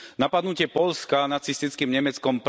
Napadnutie Poľska nacistickým Nemeckom